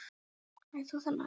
Hæ, þú þarna!